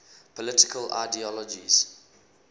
political ideologies